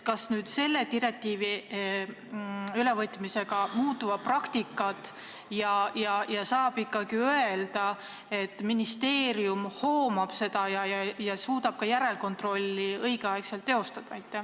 Kas selle direktiivi ülevõtmisega praktika muutub ja saab öelda, et ministeerium hoomab seda ja suudab õigel ajal ka järelkontrolli teha?